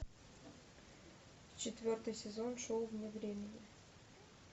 четвертый сезон шоу вне времени